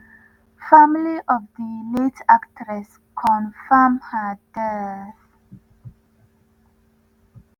family of di late actress confam her death.